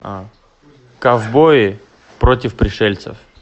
ковбои против пришельцев